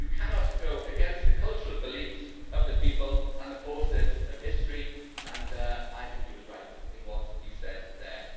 You cannot go against the cultural beliefs of the people and the forces of history', and I think he was right in what he said there.